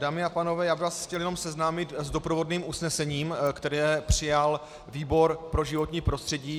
Dámy a pánové, já bych vás chtěl jenom seznámit s doprovodným usnesením, které přijal výbor pro životní prostředí.